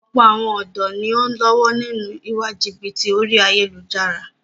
Ọ̀pọ̀ àwọn ọ̀dọ́ ni o ń lọ́wọ́ nínú ìwà jìbìtì orí ayélujára.